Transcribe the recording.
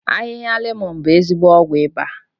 Ahịhịa lemọ̀n bụ ezigbo ọgwụ ịba